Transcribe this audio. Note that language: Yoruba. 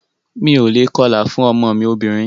Mi o lè kọlà fún ọmọ mí obìnrin.